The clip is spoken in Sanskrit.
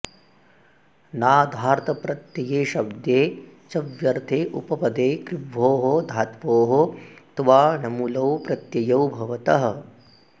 नाधार्थप्रत्यये शब्दे च्व्यर्थे उपपदे कृभ्वोः धात्वोः क्त्वाणमुलौ प्रत्ययु भवतः